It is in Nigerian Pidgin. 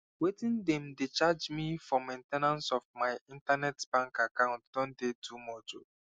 wetin dem don dey charge me for main ten ance of my internet bank account don dey too much o